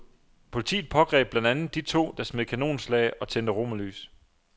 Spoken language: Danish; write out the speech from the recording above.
Politiet pågreb blandt andet de to, der smed kanonslag og tændte romerlys.